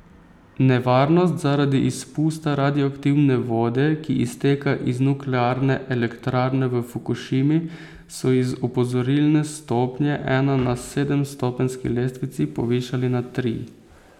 Nevarnost zaradi izpusta radioaktivne vode, ki izteka iz nuklearne elektrarne v Fukušimi, so iz opozorilne stopnje ena na sedemstopenjski lestvici povišali na tri.